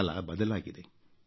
ಕಾಲ ಬದಲಾಗಿದೆ